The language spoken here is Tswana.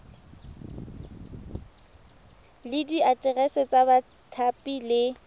le diaterese tsa bathapi le